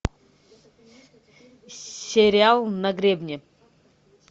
сериал на гребне